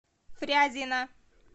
фрязино